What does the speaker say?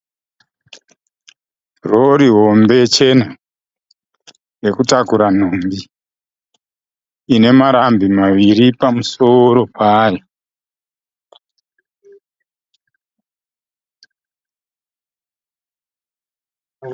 Rori hombe chena yekutakura nhumbi, ine marambi maviri pamusoro payo.